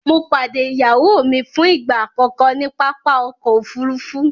Mọ̀ padẹ̀ iyáwó mi fún ìgba akọkọ ni pápá ọkọ̀ òfurufú